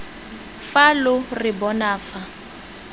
fa lo re bona fa